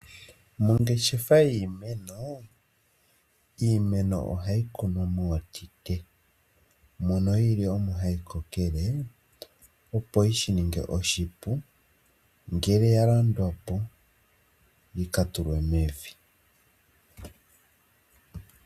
Mongeshefa yiimeno, iimeno ohayi kunwa mootite, mono yili omo hayi kokele opo yi shi ninge oshipu ngele ya landwa po yi kale tulwe mevi.